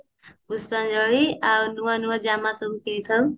ପୁଷ୍ପାଞ୍ଜଳି ଆଉ ନୂଆ ନୂଆ ଜାମା ସବୁ ପିନ୍ଧି ଥାଉ